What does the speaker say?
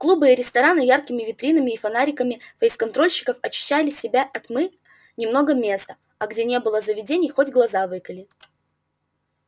клубы и рестораны яркими витринами и фонариками фейсконтрольщиков очищали себя от тьмы немного места а где не было заведений хоть глаз выколи